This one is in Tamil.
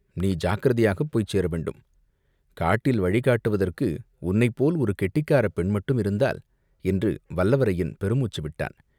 நீ ஜாக்கிரதையாகப் போய்ச் சேரவேண்டும். காட்டில் வழி காட்டுவதற்கு உன்னைப்போல் ஒரு கெட்டிக்காரப் பெண்மட்டுமிருந்தால், என்று வல்லவரையன் பெரு மூச்சு விட்டான்.